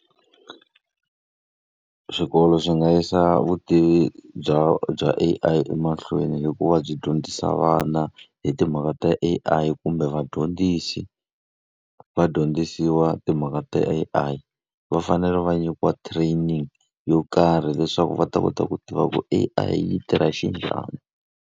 Swikolo swi nga yisa vutivi bya bya A_I emahlweni hi ku va byi dyondzisa vana hi timhaka ta A_I, kumbe vadyondzisi se va dyondzisiwa timhaka ta A_I. Va fanele va nyikiwa training yo karhi leswaku va ta kota ku tiva ku A_I yi tirha xinjhani.